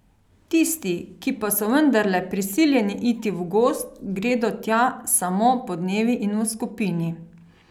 Tisti, ki pa so vendarle prisiljeni iti v gozd, gredo tja samo podnevi in v skupini.